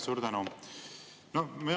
Suur tänu!